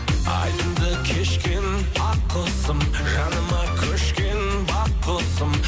айдынды кешкен ақ құсым жаныма көшкен бақ құсым